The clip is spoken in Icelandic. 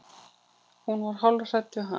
Hún var hálf hrædd við hann.